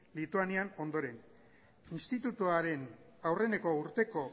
lituanian ondoren institutuaren aurreneko urteko